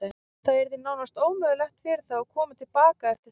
Það yrði nánast ómögulegt fyrir þá að koma til baka eftir það.